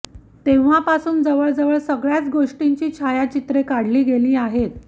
तेव्हापासून जवळ जवळ सगळ्याच गोष्टींची छायाचित्रे काढली गेली आहेत